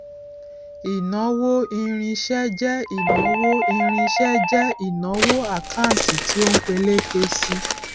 ìnáwó irinṣẹ jẹ ìnáwó irinṣẹ jẹ ìnáwó àkántì tí ó ń peléke sí i